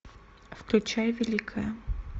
включай великое